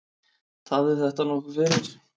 Tafði þetta nokkuð fyrir.